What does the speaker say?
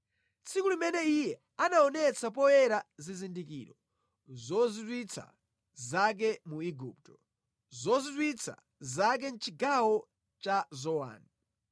tsiku limene Iyeyo anaonetsa poyera zizindikiro zozizwitsa zake mu Igupto, zozizwitsa zake mʼchigawo cha Zowani.